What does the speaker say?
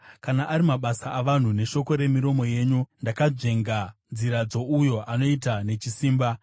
Kana ari mabasa avanhu, neshoko remiromo yenyu, ndakanzvenga nzira dzouyo anoita nechisimba.